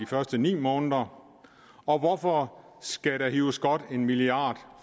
første ni måneder og hvorfor skal der hives godt en milliard